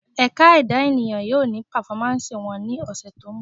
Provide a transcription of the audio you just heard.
Ẹ̀ka Ẹ̀dá ènìyàn yóò ní pàfọ́másì wọn ní ọ̀sẹ̀ tó ńbọ̀